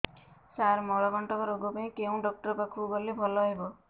ସାର ମଳକଣ୍ଟକ ରୋଗ ପାଇଁ କେଉଁ ଡକ୍ଟର ପାଖକୁ ଗଲେ ଭଲ ହେବ